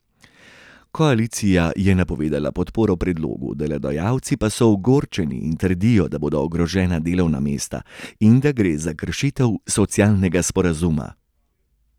Koalicija je napovedala podporo predlogu, delodajalci pa so ogorčeni in trdijo, da bodo ogrožena delovna mesta in da gre za kršitev socialnega sporazuma.